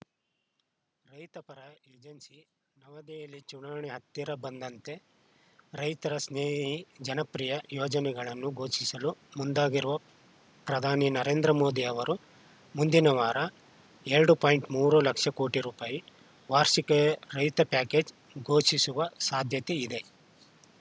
ರೈತ ಪರ ಏಜೆನ್ಸಿ ನವದೆಹಲಿ ಚುನಾವಣೆ ಹತ್ತಿರ ಬಂದಂತೆ ರೈತ ಸ್ನೇಹಿ ಜನಪ್ರಿಯ ಯೋಜನೆಗಳನ್ನು ಘೋಷಿಸಲು ಮುಂದಾಗಿರುವ ಪ್ರಧಾನಿ ನರೇಂದ್ರ ಮೋದಿ ಅವರು ಮುಂದಿನ ವಾರ ಎರಡು ಪಾಯಿಂಟ್ ಮೂರು ಲಕ್ಷ ಕೋಟಿ ರುಪಾಯಿ ವಾರ್ಷಿಕೆ ರೈತ ಪ್ಯಾಕೇಜ್‌ ಘೋಷಿಸುವ ಸಾಧ್ಯತೆ ಇದೆ